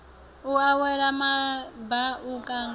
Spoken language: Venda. u wela maba u kanga